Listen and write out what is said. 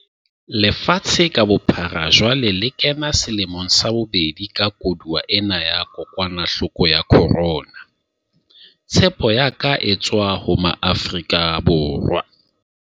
Lefatshe ka bophara jwale le kena selemong sa bobedi sa koduwa ena ya kokwanahloko ya corona. Tshepo ya ka e tswa ho Maafrika Borwa.